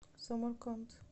самарканд